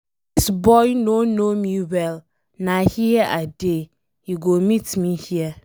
Dis boy no know me well, na here I dey. He go meet me here.